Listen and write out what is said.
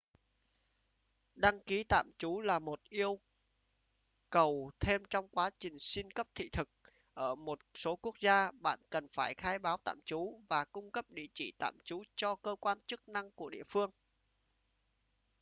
đăng ký tạm trú là một yêu cầu thêm trong quá trình xin cấp thị thực ở một số quốc gia bạn cần phải khai báo tạm trú và cung cấp địa chỉ tạm trú cho cơ quan chức năng của địa phương